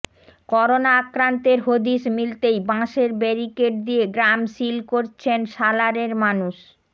corona আক্রান্তের হদিশ মিলতেই বাঁশের ব্যারিকেড দিয়ে গ্রাম সিল করছেন সালারের মানুষ